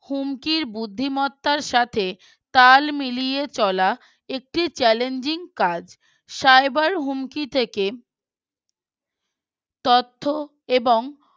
হুমকির বুদ্ধিমত্তার সাথে তাল মিলিয়ে চলা একটি Challanging কাজ Cyber হুমকি থেকে তথ্য এবং